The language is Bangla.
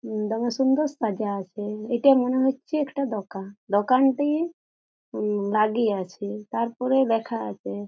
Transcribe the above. উম দমে সুন্দর সাজা আছে এটা মনে হচ্ছে একটা দোকান দোকানটি উম বাদি আছে তারপরে লেখা আছে--